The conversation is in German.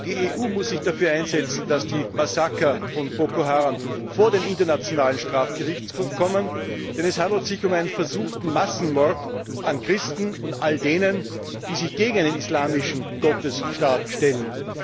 Die EU muss sich dafür einsetzen, dass die Massaker von Boko Haram vor den Internationalen Strafgerichtshof kommen, denn es handelt sich um einen versuchten Massenmord an Christen und all denen, die sich gegen einen islamischen Gottesstaat stellen.